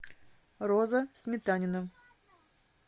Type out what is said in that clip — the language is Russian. роза сметанина